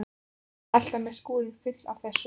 Hann er alltaf með skúrinn fullan af þessu.